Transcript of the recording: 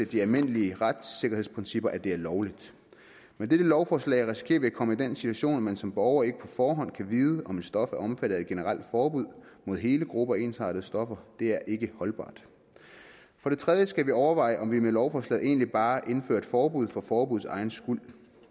de almindelige retssikkerhedsprincipper at det er lovligt med dette lovforslag risikerer vi at komme i den situation at man som borger ikke på forhånd kan vide om et stof er omfattet af et generelt forbud mod hele grupper af ensartede stoffer det er ikke holdbart for det tredje skal vi overveje om vi med lovforslaget egentlig bare indfører et forbud for forbuddets egen skyld